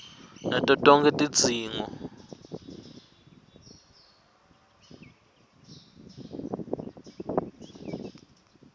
nato tonkhe tidzingo